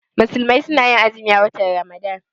Musulmai suna azumi a watan Ramadan.